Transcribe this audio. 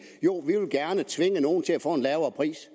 jo vi vil gerne tvinge nogle til at få en lavere pris